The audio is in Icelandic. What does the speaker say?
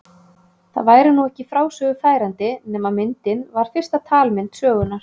Það væri nú ekki frásögu færandi nema myndin var fyrsta talmynd sögunnar.